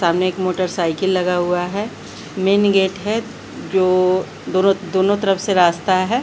सामने एक मोटरसाइकिल लगा हुआ है मेन गेट है जो दोनों दोनोंतरफ से रास्ता है।